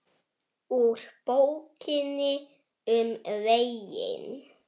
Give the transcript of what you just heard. Lillý: Þetta er ákveðin bylting?